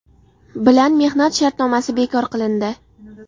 bilan mehnat shartnomasi bekor qilindi.